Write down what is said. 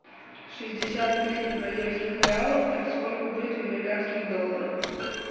шестьдесят тысяч бразильских реалов это сколько будет в американских долларах